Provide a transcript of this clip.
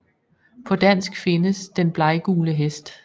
På dansk findes Den bleggule Hest